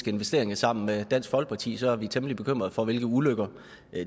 investeringer sammen med dansk folkeparti så er vi temmelig bekymret for hvilke ulykker